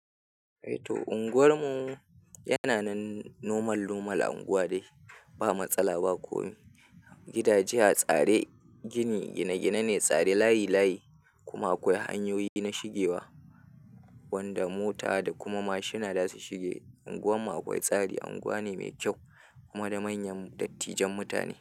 Eh to unguwar mu yana nan nomal nomal unguwa dai ba matsala ba komi gidaje a tsare gini gine gine ne tsare layi layi kuma akwai hanyoyi na shigewa wanda mota da kuma mashina za su shiga unguwar mu akwai tsari unguwa ne mai kyau kuma da manyan dattijan mutane.